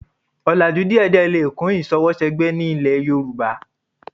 Ọlàjú díẹ̀díẹ̀ lè kún ìṣọwọ́ṣẹgbẹ́ ní ilẹ̀ Yorùbá